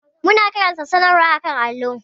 Mun karanta sanarwar a kan allo.